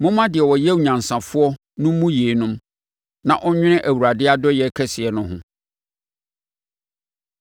Momma deɛ ɔyɛ onyansafoɔ no mmu yeinom, na ɔnnwene Awurade adɔeɛ kɛseɛ no ho.